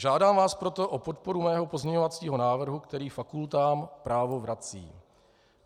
Žádám vás proto o podporu mého pozměňovacího návrhu, který fakultám právo vrací.